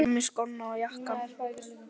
Ég fór fram og í skóna og jakkann.